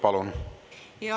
Palun!